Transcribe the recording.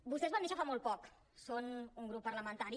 vostès van néixer fa molt poc són un grup parlamentari